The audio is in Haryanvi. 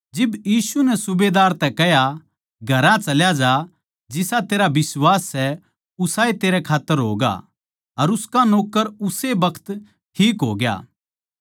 जिब यीशु नै सूबेदार तै कह्या घर चला जा जिसा तेरा बिश्वास सै उसाए तेरै खात्तर होगा अर उसका नौक्कर उस्से बखत ठीक होग्या